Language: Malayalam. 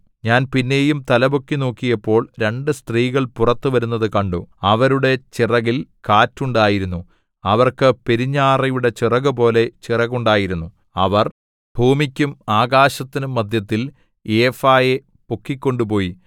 ഞാൻ പിന്നെയും തലപൊക്കി നോക്കിയപ്പോൾ രണ്ടു സ്ത്രീകൾ പുറത്തു വരുന്നത് കണ്ടു അവരുടെ ചിറകിൽ കാറ്റുണ്ടായിരുന്നു അവർക്ക് പെരുഞ്ഞാറയുടെ ചിറകുപോലെ ചിറകുണ്ടായിരുന്നു അവർ ഭൂമിക്കും ആകാശത്തിനും മദ്ധ്യത്തിൽ ഏഫായെ പൊക്കിക്കൊണ്ടുപോയി